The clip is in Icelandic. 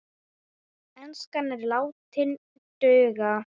Enskan er látin duga.